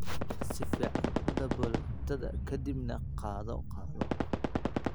Si fiican u dabool cuntada ka dibna qaado qaado.